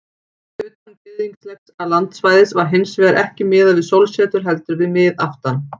Utan gyðinglegs landsvæðis var hins vegar ekki miðað við sólsetur heldur við miðaftan.